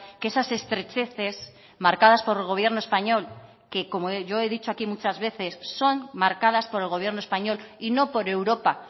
que esas estrecheces marcadas por el gobierno español que como yo he dicho aquí muchas veces son marcadas por el gobierno español y no por europa